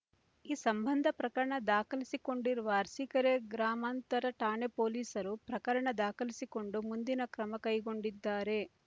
ಈ ಸಂಬಂಧ ಪ್ರಕರಣ ದಾಖಲಿಸಿಕೊಂಡಿರುವ ಅರಸೀಕೆರೆ ಗ್ರಾಮಾಂತರ ಠಾಣೆ ಪೊಲೀಸರು ಪ್ರಕರಣ ದಾಖಲಿಸಿಕೊಂಡು ಮುಂದಿನ ಕ್ರಮ ಕೈಗೊಂಡಿದ್ದಾರೆ